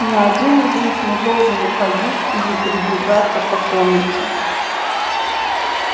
ни один из них не должен уходить или передвигаться по комнате